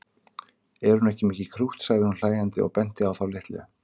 Er hún ekki mikið krútt sagði hún hlæjandi og benti á þá litlu.